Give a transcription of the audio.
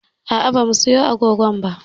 A'a ba za mu siyo agogon bango ba